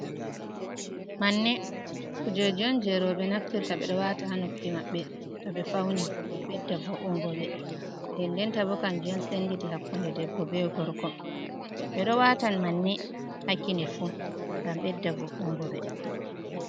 Manne kujeji on jei roɓe naftirta ɓe ɗo wata hanoppi maɓbe to ɓe fauni gam bedda vo'ungobe nde ndenta bo kanjun senditi hakkunde debbo be gorko, ɓe ɗo wata manne ha kine fu ngam bedda vo'ungobe.